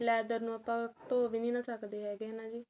leather ਨੂੰ ਆਪਾਂ ਧੋ ਵੀ ਨੀਂ ਨਾ ਸਕਦੇ ਹਨਾ ਜੀ